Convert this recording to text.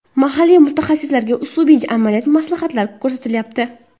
Mahalliy mutaxassislarga uslubiy amaliy maslahatlar ko‘rsatilyapti.